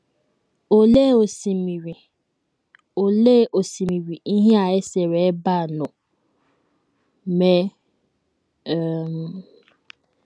Olee osimiri Olee osimiri ihe a e sere ebe a nọ mee um?